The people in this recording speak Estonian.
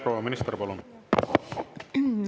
Proua minister, palun!